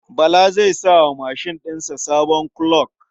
Bala zai sa wa mashin ɗin sa sabon kuloc.